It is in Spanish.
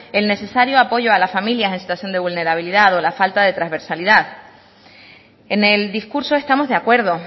el necesario apoyo a la familia en situación de vulnerabilidad o la falta de transversalidad en el discurso estamos de acuerdo